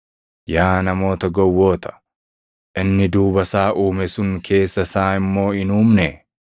Yaa namoota gowwoota! Inni duuba isaa uume sun keessa isaa immoo hin uumnee?